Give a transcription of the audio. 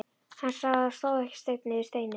Hann sá að það stóð ekki steinn yfir steini.